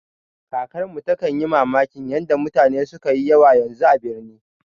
Kakarmu takan yi mamakin yanda mutane sukayi yawa yanzu a birni